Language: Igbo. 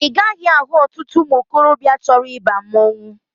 Ị gaghị ahụ ọtụtụ ụmụ okorobịa chọrọ ịba mmanwụ